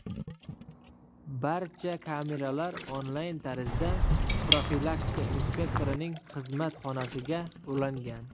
Barcha kameralar onlayn tarzda profilaktika inspektorining xizmat xonasiga ulangan.